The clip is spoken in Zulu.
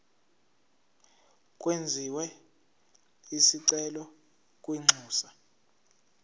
kwenziwe isicelo kwinxusa